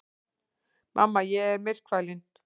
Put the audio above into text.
Mamma, ég er myrkfælinn.